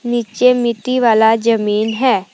नीचे मिट्टी वाला जमीन है।